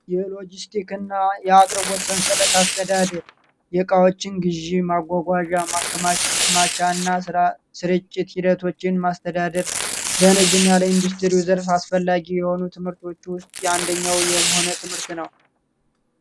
የአቅርቦት ሰንሰለት አስተዳደር የዕቃዎችን ግዥና ስርጭት ሂደቶችን ማስተዳደር ደንብና ለ ኢንዱስትሪ አስፈላጊ የሆኑ ትምህርቶች ውስጥ የአንደኛው የሆነ ትምህርት ነው